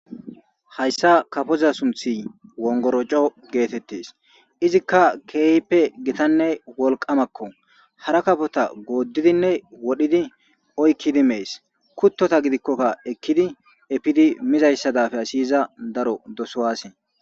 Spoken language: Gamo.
Hayssa kafoza sunthi wongoroco geetettes izikka keehpe gitanne wolqamakko hara kafota gooddidinne wodhidi oykkidi mees kuttota gidikkokka ekkidi epidi mizayssadafe asiyiza daro dosowaase.